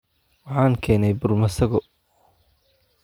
Waxaan keenay bur masago.